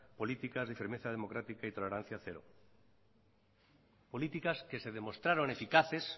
políticas de firmeza democrática y tolerancia cero políticas que se demostraron eficaces